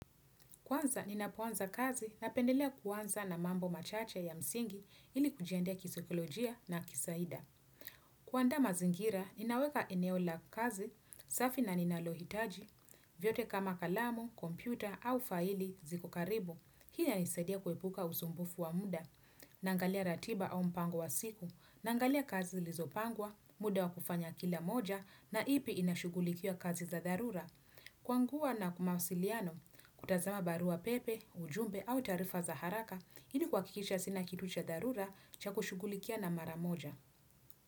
Kwanza ninapoanza kazi napendelia kuanza na mambo machache ya msingi ili kujiandaa kisaikolojia na kisahida. Kuanda mazingira, ninaweka eneo la kazi, safi na ninalohitaji, vyote kama kalamu, kompyuta au faili ziko karibu. Hii inanisadia kuepuka usumbufu wa muda, naangalia ratiba au mpango wa siku, naangalia kazi zilizopangwa, muda wa kufanya kila moja na ipi inashugulikia kazi za dharura. Kwangua na wamawasiliano, kutazama barua pepe, ujumbe au taarifa za haraka, ili kuhakikisha sina kitu cha dharura cha kushugulikia na maramoja.